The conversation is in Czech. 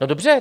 No dobře.